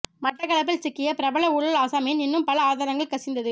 மட்டக்களப்பில் சிக்கிய பிரபல ஊழல் ஆசாமியின் இன்னும் பல ஆதாரங்கள் கசிந்தது